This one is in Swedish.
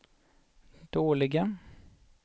dåliga